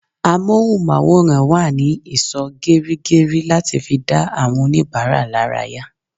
Amohunmaworan wa ní ìsò geri geri láti fi dá àwọn onibara laraya